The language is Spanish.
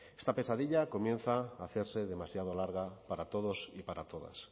esta pesadilla comienza a hacerse demasiado larga para todos y para todas